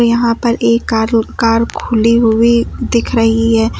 यहां पर एक कार कार खुली हुई दिख रही है।